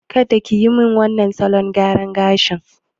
Kada kiyi min wannan salon gyaran gashin!